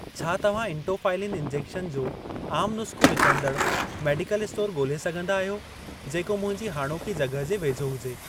छा तव्हां इटोफ़ाइलिन इंजेक्शन जो आम नुस्ख़ो विकिणंदड़ मेडिकल स्टोर ॻोल्हे सघंदा आहियो, जेको मुंहिंजी हाणोकी जॻहिं जे वेझो हुजे।